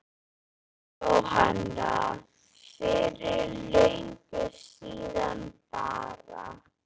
Jóhanna: Fyrir löngu síðan bara?